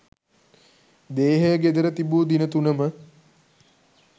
දේහය ගෙදර තිබූ දින තුනම